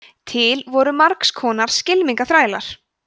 til voru margs konar skylmingaþrælar